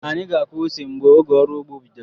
Anyi ga-akụ ose mgbe oge ọrụugbo bidoro